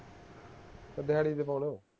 ਕੇ ਦਿਹਾੜੀ ਤੇ ਹੁਣ